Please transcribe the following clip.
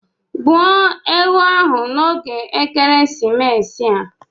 Gbuo ewu ahụ n'oge ekeresimesi a.